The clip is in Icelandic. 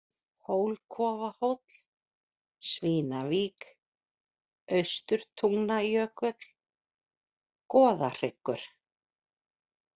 Hólkofahóll, Svínavík, Austurtungnajökull, Goðahryggur